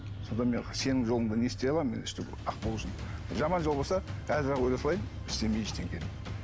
сонда дан мен сенім жолында не істей аламын мен өстіп ақ болу үшін жаман жол болса қазір ақ өле салайын істемей ештеңе